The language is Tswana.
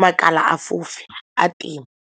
makala a fofe a teng.